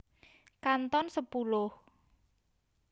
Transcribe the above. Kanton sepuluh